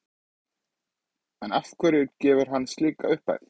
En af hverju gefur hann slíka upphæð?